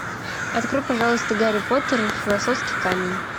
открой пожалуйста гарри поттер и философский камень